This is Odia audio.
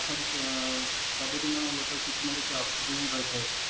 ସବୁଦିନ ଗୋଟେ କିଛି ନ କିଛି offer ରହିଥାଏ ଏଠି